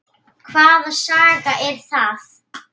Hvaða saga er það?